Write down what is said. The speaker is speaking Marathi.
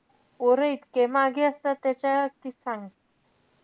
पोरं इतके मागे असतात त्याच्या कि सांग.